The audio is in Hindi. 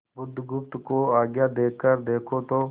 बुधगुप्त को आज्ञा देकर देखो तो